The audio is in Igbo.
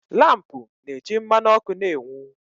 Lampu na-eji mmanụ ọkụ na-enwu